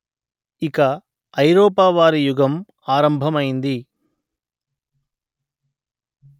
ఇక ఐరోపా వారి యుగం ఆరంభమైంది